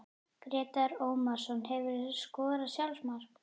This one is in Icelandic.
Grétar Ómarsson Hefurðu skorað sjálfsmark?